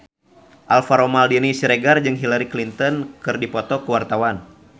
Alvaro Maldini Siregar jeung Hillary Clinton keur dipoto ku wartawan